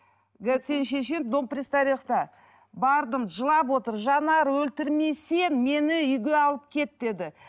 сенің шешең дом пристарелыхта бардым жылап отыр жанар өлтірмесең мені үйге алып кет деді